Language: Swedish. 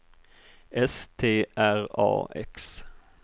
S T R A X